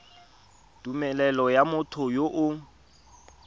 tumelelo ya motho yo o